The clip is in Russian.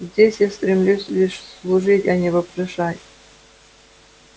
здесь я стремлюсь лишь служить а не вопрошать